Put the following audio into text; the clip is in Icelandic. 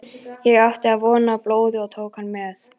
Ég átti von á blóði og tók hann með.